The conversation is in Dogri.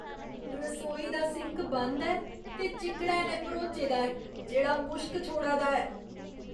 रसोई दा सिंक बंद ऐ ते चिक्कड़ै नै भरोचे दा ऐ जेह्ड़ा मुश्क छोड़ै दा ऐ।